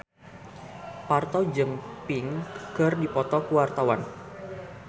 Parto jeung Pink keur dipoto ku wartawan